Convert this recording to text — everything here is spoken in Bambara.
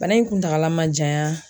Bana in kuntala ma janya